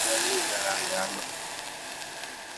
Nyalu ing'alalde ano?